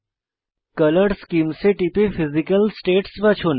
colour schemes এ টিপে physical states বাছুন